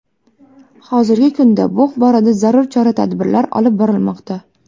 Hozirgi kunda bu borada zarur chora-tadbirlar olib borilmoqda.